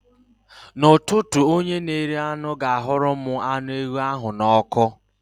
N'ụtụtụ, onye na-ere anụ ga-ahụrụ m anụ ewu ahụ n'ọkụ.